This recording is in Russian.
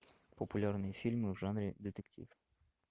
популярные фильмы в жанре детектив